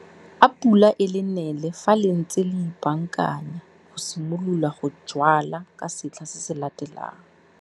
A pula e le nele fa le ntse le ipaakanya go simolola go jwala ka setlha se se latelang.